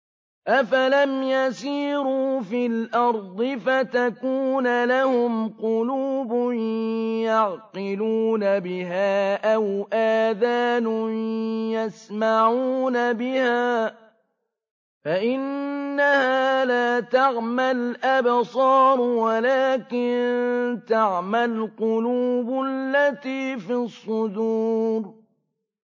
أَفَلَمْ يَسِيرُوا فِي الْأَرْضِ فَتَكُونَ لَهُمْ قُلُوبٌ يَعْقِلُونَ بِهَا أَوْ آذَانٌ يَسْمَعُونَ بِهَا ۖ فَإِنَّهَا لَا تَعْمَى الْأَبْصَارُ وَلَٰكِن تَعْمَى الْقُلُوبُ الَّتِي فِي الصُّدُورِ